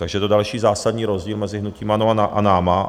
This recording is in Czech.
Takže je to další zásadní rozdíl mezi hnutím ANO a námi.